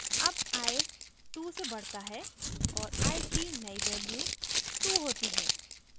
अब i 2 से बढता है और i की now value 2 होती है